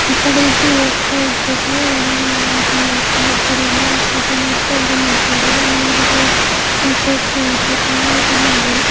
ಈ ಕಡೆ ಇಬ್ಬರು ಹೋಗ್ತಾ ಇದ್ದಾರೆ ಏನ್ ಏನು ಇದು ಮಾಡ್ಕೊಂಡ್ ಆ ಕಡೆ ಎಲ್ಲಾ ಪೂಜೆ ಮಾಡ್ತಾ ಇದು ಮಾಡ್ತಾ ಇದ್ದಾರೆ ಮೇಲ್ಗಡೆ ಸೇತುವೆ ಇದೆ ತುಂಬಾ ಜನ ಇದ್ದಾರೆ.